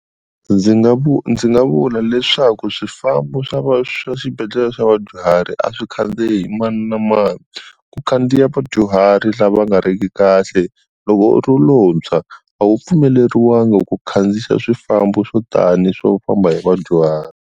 Ndzi nga ndzi nga vula leswaku swifambo swa swibedhlele swa vadyuhari a swi khandziyi hi mani na mani ku khandziya vadyuhari lava nga riki kahle loko u ri lontshwa a wu pfumeleriwangi ku khandziya swifambo swo tani swo famba hi vadyuhari.